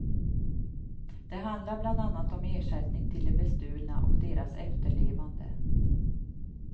Det handlar bland annat om ersättning till de bestulna och deras efterlevande.